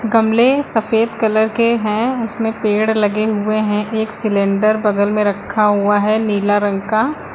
गमले सफेद कलर के हैं उसमें पेड़ लगे हुए हैं एक सिलेंडर बगल में रखा हुआ है नीला रंग का।